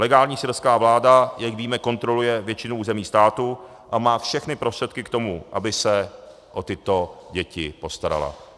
Legální syrská vláda, jak víme, kontroluje většinu území státu a má všechny prostředky k tomu, aby se o tyto děti postarala.